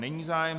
Není zájem.